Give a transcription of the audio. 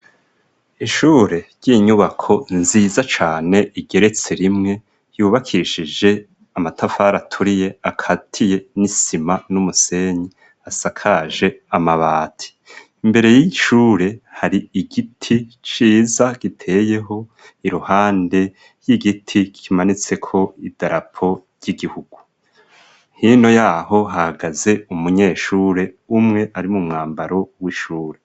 Ishure ry'inyubako nziza cane igeretse rimwe yubakishije amatafari aturiye akatiye n'isima n'umusenyi asakaje amabati, imbere y'ishure hari igiti ciza giteyeho iruhande y'igiti kimanitseko idarapo ry'igihugu, hino yaho hahagaze umunyeshure umwe ari mu mwambaro w'ishure.